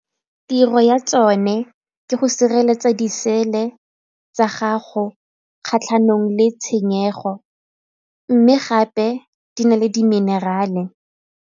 Tiro ya tsone ke go sireletsa disele tsa gago kgatlhanong le tshenyego mme gape di na le di minerale.